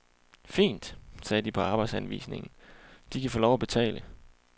Fint, sagde de på arbejdsanvisningen, de kan få lov at betale.